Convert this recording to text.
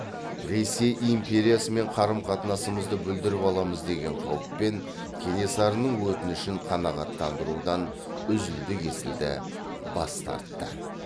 ресей империясымен қарым қатынасымызды бүлдіріп аламыз деген қауіппен кенесарының өтінішін қанағаттандырудан үзілді кесілді бас тартты